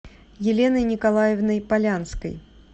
еленой николаевной полянской